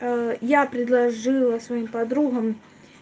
я предложила своим подругам